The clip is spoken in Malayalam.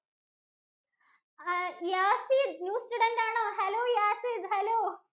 ആഹ് യാസിത്ത് new student ആണോ hello യാസിത്ത് hello